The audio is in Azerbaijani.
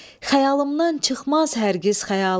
Xəyalımdan çıxmaz hər gəz xəyalın.